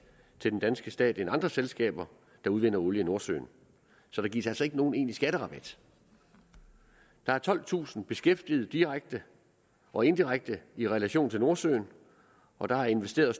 til den danske stat end andre selskaber der udvinder olie i nordsøen så der gives altså ikke nogen egentlig skatterabat der er tolvtusind beskæftiget direkte og indirekte i relation til nordsøen og der er investeret